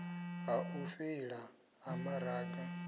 ha u feila ha maraga